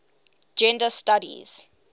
gender studies